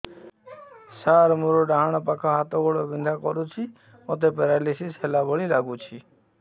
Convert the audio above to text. ସାର ମୋର ଡାହାଣ ପାଖ ହାତ ଗୋଡ଼ ବିନ୍ଧା କରୁଛି ମୋତେ ପେରାଲିଶିଶ ହେଲା ଭଳି ଲାଗୁଛି